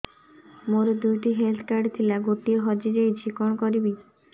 ମୋର ଦୁଇଟି health card ଥିଲା ଗୋଟିଏ ହଜି ଯାଇଛି କଣ କରିବି